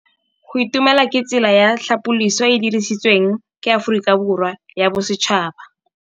Go itumela ke tsela ya tlhapolisô e e dirisitsweng ke Aforika Borwa ya Bosetšhaba.